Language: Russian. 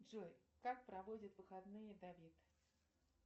джой как проводит выходные давид